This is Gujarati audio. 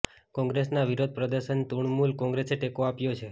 કોંગ્રેસના વિરોધ પ્રદર્શનને તૃણમૂલ કોંગ્રેસે ટેકો આપ્યો છે